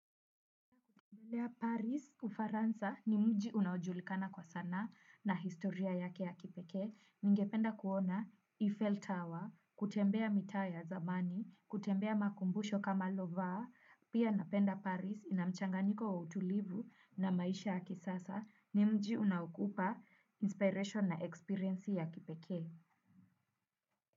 Belea Paris, Ufaransa ni mji unajulikana kwa sanaa na historia yake ya kipeke. Ningependa kuona Eiffel Tower, kutembea mitaa ya zamani, kutembea makumbusho kama Lovar. Pia napenda Paris ina mchanganyiko wa utulivu na maisha ya kisasa ni mji unaokupa inspiration na experience ya kipekee.